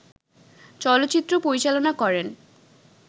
চলচ্চিত্র পরিচালনা করেন